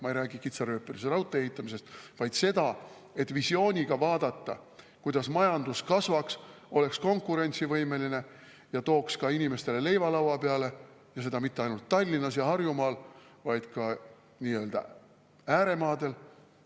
Ma ei räägi kitsarööpmelise raudtee ehitamisest, vaid sellest, et visiooniga vaadata, kuidas majandus kasvaks, oleks konkurentsivõimeline ja tooks inimestele leiva lauale, seda mitte ainult Tallinnas ja Harjumaal, vaid ka nii-öelda ääremaadel.